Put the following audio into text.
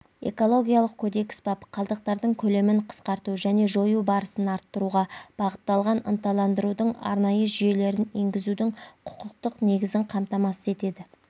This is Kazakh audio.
экологиялық кодекс бап қалдықтардың көлемін қысқарту және жою барысын арттыруға бағытталған ынталандырудың арнайы жүйелерін енгізудің құқықтық негізін қамтамасыз етеді